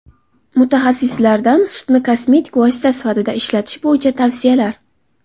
Mutaxassislardan sutni kosmetik vosita sifatida ishlatish bo‘yicha tavsiyalar.